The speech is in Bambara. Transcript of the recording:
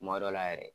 Kuma dɔ la yɛrɛ